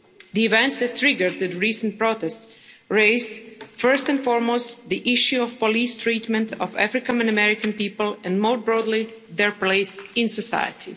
The events that triggered the recent protests raised, first and foremost, the issue of police treatment of African American people and, more broadly, their place in society.